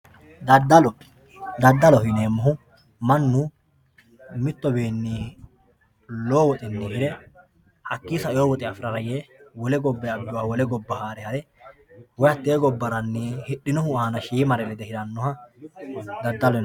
Dadallo, dadalloho yineemohu manu mitowinni lowo woxxi hire haki saewo woxe afirara yee wole gobay abe wole goba haare hare woyi hatte gobbaranni hidhinowinni shiimare lede hiranoha dadallo yinanni